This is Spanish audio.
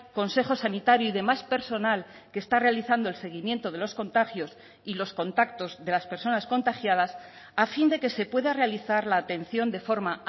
consejo sanitario y demás personal que está realizando el seguimiento de los contagios y los contactos de las personas contagiadas a fin de que se pueda realizar la atención de forma